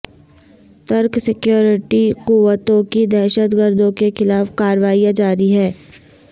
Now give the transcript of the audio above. ترک سیکورٹی قوتوں کی دہشت گردوں کے خلاف کاروائیاں جاری ہیں